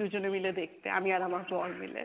দুজনে মিলে দেখতে, আমি আর আমার বর মিলে।